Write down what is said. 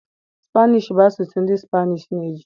Spanish bụ asụsụ ndị Spanish na-eji.